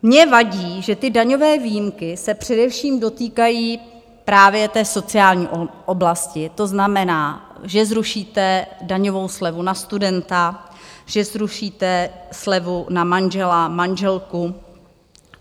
Mně vadí, že ty daňové výjimky se především dotýkají právě té sociální oblasti, to znamená, že zrušíte daňovou slevu na studenta, že zrušíte slevu na manžela, manželku.